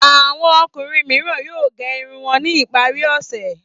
Àwọn ọkùnrin mìíràn yóò gẹ irun wọn ní ìparí ọ̀sẹ̀.